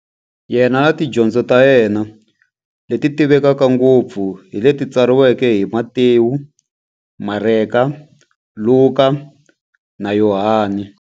Yena na tidyondzo ta yena, leti tivekaka ngopfu hi leti tsariweke hi-Matewu, Mareka, Luka, na Yohani.